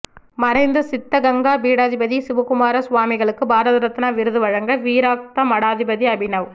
மறைந்த சித்தகங்கா பீடாதிபதி சிவக்குமார சுவாமிகளுக்கு பாரதரத்னா விருது வழங்க வீரக்தா மடாதிபதி அபிநவ்